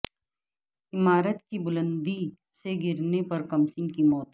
عمارت کی بلندی سے گرنے پر کمسن کی موت